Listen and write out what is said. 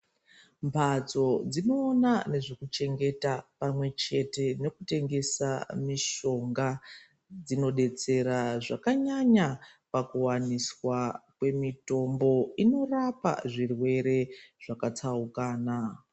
Mhatso dzinoona nezvekuchengeta pamwechete nekutengese mishonga dzinodetsera zvakanyanya pakuwaniswa kwemitombo inorapa zvirwere zvakatsaukana.